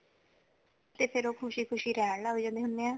ਤੇ ਫੇਰ ਉਹ ਖੁਸ਼ੀ ਖੁਸ਼ੀ ਰਹਿਣ ਲੱਗ ਜਾਂਦੇ ਹੋਂਦੇ ਹੈ